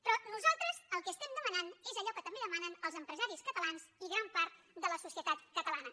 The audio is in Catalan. però nosaltres el que estem demanant és allò que també demanen els empresaris catalans i gran part de la societat catalana